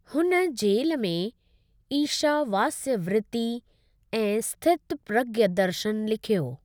हुन जेल में ईशावास्यवृति ऐं स्थितप्रज्ञ दर्शनु लिखियो।